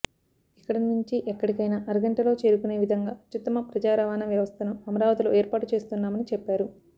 ఎక్కడి నుంచి ఎక్కడికైనా అరగంటలో చేరుకునే విధంగా అత్యుత్తమ ప్రజా రవాణ వ్యవస్థను అమరావతిలో ఏర్పాటు చేస్తున్నామని చెప్పారు